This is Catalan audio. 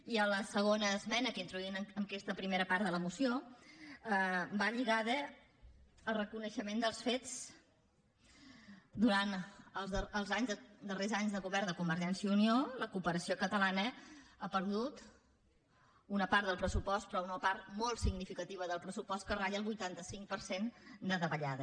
i la segona esmena que introduïm en aquesta primera part de la moció va lligada al reconeixement dels fets durant els darrers anys de govern de convergència i unió la cooperació catalana ha perdut una part del pressupost però una part molt significativa del pressupost que ratlla el vuitanta cinc per cent de davallada